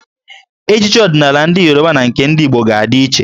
Ejiji ọdịnaala ndị Yoruba na nke ndị Igbo ga-adị iche.